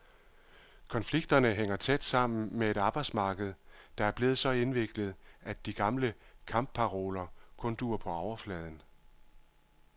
Konflikterne hænger tæt sammen med et arbejdsmarked, der er blevet så indviklet, at de gamle kampparoler kun duer på overfladen.